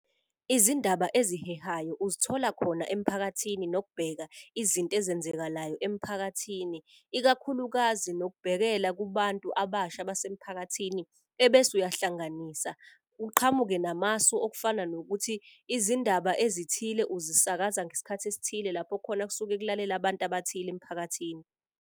Izindaba ezihehayo uzithola khona emphakathini nokubheka izinto ezenzekalayo emphakathini. Ikakhulukazi nokubhekela kubantu abasha base mphakathini ebese uyahlanganisa. Uqhamuke namasu okufana nokuthi izindaba ezithile uzisakaza ngesikhathi esithile lapho khona kusuke kulalele abantu abathile emphakathini.